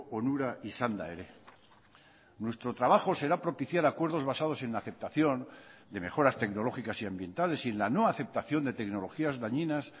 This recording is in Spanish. onura izanda ere nuestro trabajo será propiciar acuerdos basados en la aceptación de mejoras tecnológicas y ambientales y en la no aceptación de tecnologías dañinas